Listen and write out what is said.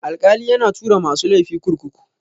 Alkali yana tura masu laifi kurkuku.